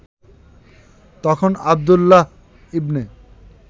তখন আবদুল্লাহ ইবনে